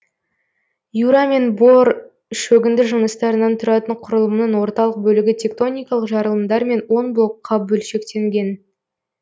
юра мен бор шөгінді жыныстарынан тұратын құрылымның орталық бөлігі тектоникалық жарылымдармен он блокқа бөлшектелген